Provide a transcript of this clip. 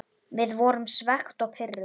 Við vorum svekkt og pirruð.